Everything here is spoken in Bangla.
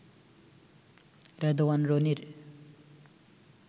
রেদওয়ান রনির